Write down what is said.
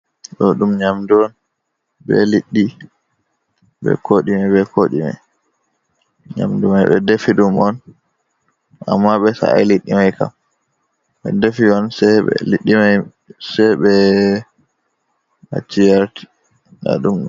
Ɗo ɗum nyamdu on. Be liɗɗi, be kodume be kodume. Nyamdu mai ɓe defi ɗum on amma ɓe sa’ai liɗɗi mai kam. Ɓe defi on liɗɗi mai sai ɓe acci yarti.